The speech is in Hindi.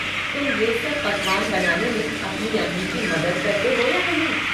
तुम ये सब पकवान बनाने में अपनी अम्मी की मदद करते हो या नहीं?